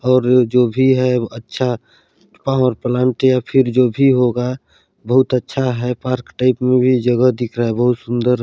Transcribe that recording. --और जो भी है अच्छा पावर प्लांट फिर जो भी होगा बहुत अच्छा है पार्क टाइप में भी जगह दिख रहा है बहुत सुन्दर--